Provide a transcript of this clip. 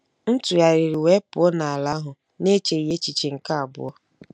M tụgharịrị wee pụọ n'ala ahụ n'echeghị echiche nke abụọ.